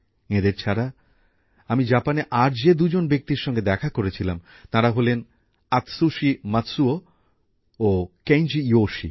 এঁদের ছাড়া আমি জাপানে আর যে দুজন ব্যক্তির সঙ্গে দেখা করেছিলাম তাঁরা হলেন আতসুশি মাতসুও ও কেঞ্জি ইয়োশি